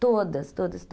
Todas, todas, todas.